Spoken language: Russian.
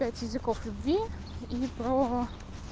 пять языков любви и про